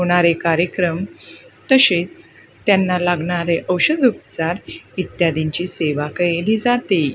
होणारे कार्यक्रम तसेच त्यांना लागणारे औषधं उपचार इत्यादींची सेवा कैली जाते.